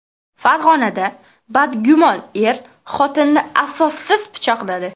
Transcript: Farg‘onada badgumon er xotinini asossiz pichoqladi.